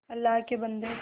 अल्लाह के बन्दे